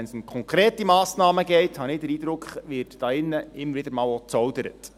Wenn es aber um konkrete Massnahmen geht – so habe ich den Eindruck –, wird hier drin wieder einmal gezaudert.